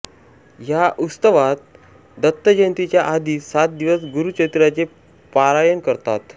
या उत्सवात दत्तजयंतीच्या आधी सात दिवस गुरूचरित्राचे पारायण करतात